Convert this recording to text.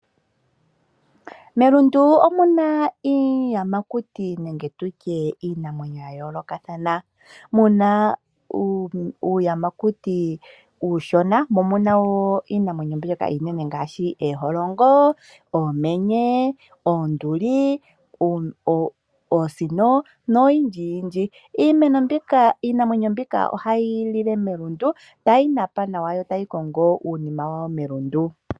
Melundu omuna iiyamakuti nenge tuty iinamwenyo ya yoolokathana muna uuyamakuti uushona mo omuna wo iinamwenyo mbyoka iishona ngaashi ooholongo ,oomenye, oonduli ,oosino noyindji yindji iinamwenyo mbika ohayi lile melundu tayi napa nawa yo otayi kongo uunima wawo melundu.